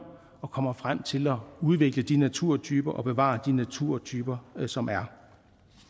og kommer frem til at udvikle de naturtyper og bevare de naturtyper som der er